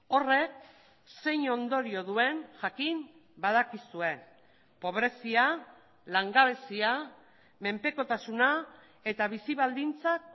horrek zein ondorio duen jakin badakizue pobrezia langabezia menpekotasuna eta bizi baldintzak